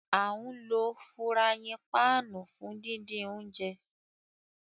Àǹ lo furàyin pạạnu fun didin ounjẹ.